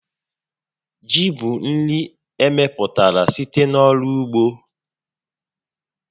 Ji bụ nri emepụtara site n'ọrụ ugbo